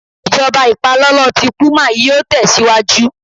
Ijọba ipalọlọ ti puma yíò tẹsiwaju